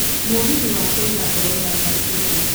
mũgithi wa kũiga ũrauma thaa cigana